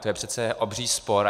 To je přece obří spor.